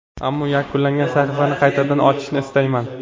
Ammo yakunlangan sahifani qaytadan ochishni istamayman.